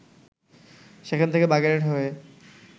সেখান থেকে বাগেরহাট হয়ে